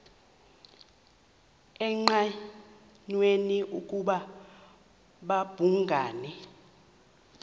engqanweni ukuba babhungani